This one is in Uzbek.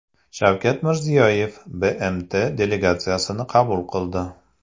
Shavkat Mirziyoyev BMT delegatsiyasini qabul qildi.